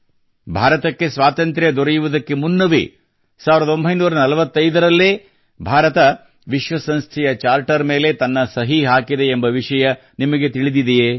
ಭಾರತಕ್ಕೆ ಸ್ವಾತಂತ್ರ್ಯ ದೊರೆಯುವುದಕ್ಕೆ ಮುನ್ನವೇ 1945 ರಲ್ಲ್ಲೇ ಭಾರತ ವಿಶ್ವ ಸಂಸ್ಥೆಯ ಚಾರ್ಟರ್ ಮೇಲೆ ತನ್ನ ಸಹಿ ಹಾಕಿದೆಯೆಂಬ ವಿಷಯ ನಿಮಗೆ ತಿಳಿದಿದೆಯೇ